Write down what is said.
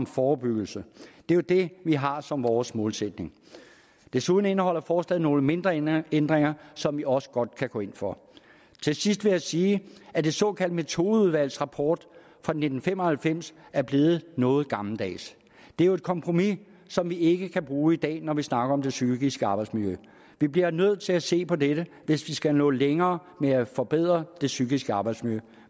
forebyggelse det er jo det vi har som vores målsætning desuden indeholder forslaget nogle mindre ændringer ændringer som vi også godt kan gå ind for til sidst vil jeg sige at det såkaldte metodeudvalgs rapport fra nitten fem og halvfems er blevet noget gammeldags det er jo et kompromis som vi ikke kan bruge i dag når vi snakker om det psykiske arbejdsmiljø vi bliver nødt til at se på dette hvis vi skal nå længere med at forbedre det psykiske arbejdsmiljø